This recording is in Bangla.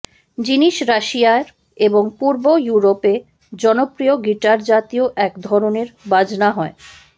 জিনিস রাশিয়ার এবং পূর্ব ইউরোপে জনপ্রিয় গিটারজাতীয় এক ধরনের বাজনা হয়